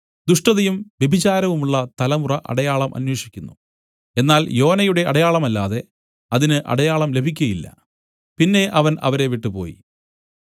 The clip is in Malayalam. ദുഷ്ടതയും വ്യഭിചാരവുമുള്ള തലമുറ അടയാളം അന്വേഷിക്കുന്നു എന്നാൽ യോനയുടെ അടയാളമല്ലാതെ അതിന് അടയാളം ലഭിക്കുകയില്ല പിന്നെ അവൻ അവരെ വിട്ടുപോയി